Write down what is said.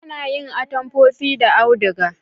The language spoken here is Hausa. A na yin atamfofi da auduga